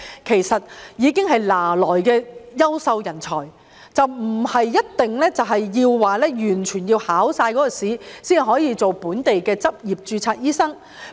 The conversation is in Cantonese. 其實，他們已經是現有的優秀人才，不應要求他們完成所有考試，才可以成為本地執業註冊醫生。